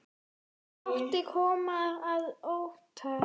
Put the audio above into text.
Fátt kom þar á óvart.